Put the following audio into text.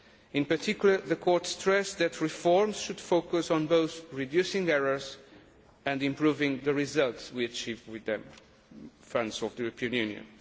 In particular, the Court stressed that reforms should focus on both reducing errors and improving the results we achieve with the funds of the European Union.